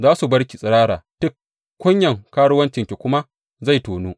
Za su bar ki tsirara tik, kunyan karuwancinki kuma zai tonu.